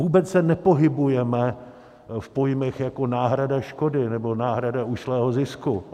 Vůbec se nepohybujeme v pojmech jako náhrada škody nebo náhrada ušlého zisku.